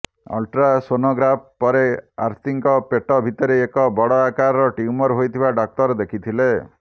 ultrasonograph ପରେ ଆର୍ତୀଙ୍କ ପେଟ ଭିତରେ ଏକ ବଡ଼ ଆକାରର ଟ୍ୟୁମର ହୋଇଥିବା ଡ଼ାକ୍ତର ଦେଖିଥିଲେ